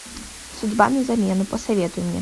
судьба на замену посоветуй мне